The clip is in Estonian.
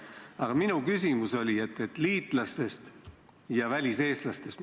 Aga minu küsimus oli liitlasriikides elavate väliseestlaste kohta.